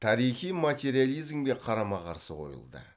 тарихи материализмге қарама қарсы қойылды